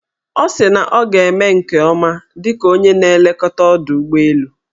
Ọ sị na ọ ga-eme nke ọma dịka onye na-elekọta ọdọụgbọelu.